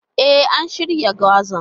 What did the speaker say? E, an shirya gwazan.